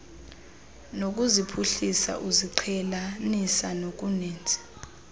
nokuziphuhlisa uziqhelanisa nokuninzi